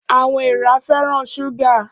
Áwòn èèrà fèrán ṣúgá